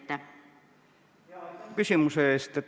Aitäh küsimuse eest!